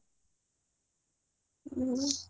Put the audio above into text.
ହ୍ମ